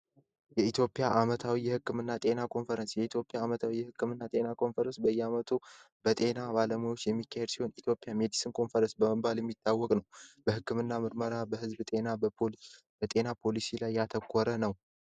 የኢትዮጵያ ዓመታዊ የጤና ኮንፈረንስ ይህ የህክምና ኮንፈረንስ በየአመቱ በጤና ባለሙያዎች የሚካኤል ሲሆን በሜዲሲን ኮንፈረንስ በመባል የሚታወቀ ነው በህክምና ምርመራ በጤና ዘርፍ እና በጤና ፖሊሲ ላይ ያተኮረ ነው።